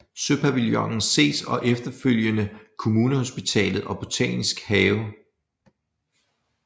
Søpavillonen ses og efterfølgende Kommunehospitalet og Botanisk have